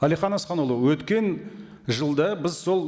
әлихан асханұлы өткен жылда біз сол